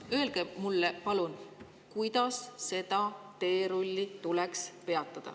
Öelge mulle palun, kuidas see teerull tuleks peatada.